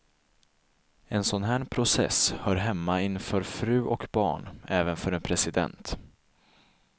En sån här process hör hemma inför fru och barn, även för en president.